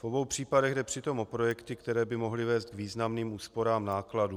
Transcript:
V obou případech jde přitom o projekty, které by mohly vést k významným úsporám nákladů.